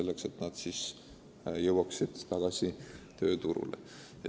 Need noored peaksid leidma töö.